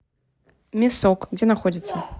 мясок где находится